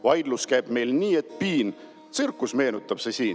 Vaidlus käib meil nii et piin, tsirkust meenutab see siin.